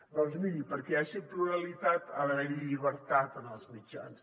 doncs miri perquè hi hagi pluralitat ha d’haver llibertat en els mitjans